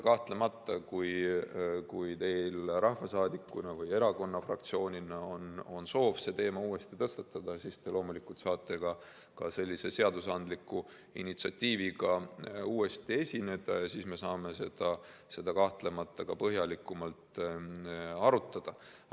Kahtlemata, kui teil rahvasaadikuna või fraktsioonina on soov see teema uuesti tõstatada, siis te loomulikult saate ka sellise seadusandliku initsiatiiviga uuesti esineda ja siis me saame seda põhjalikumalt arutada.